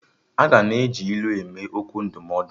Aga na-eji ilu eme okwu ndụmọdụ